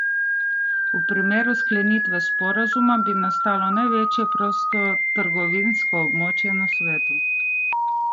V primeru sklenitve sporazuma bi nastalo največje prostotrgovinsko območje na svetu.